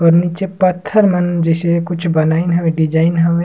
और निचे पत्थर मन जइसे कुछ बनाइन हवे डिज़ाइन हवे।--